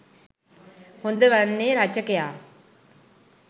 හොඳ වන්නේ රචකයා